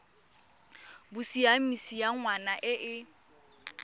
bosiamisi ya ngwana e e